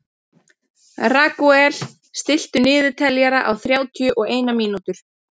Ragúel, stilltu niðurteljara á þrjátíu og eina mínútur.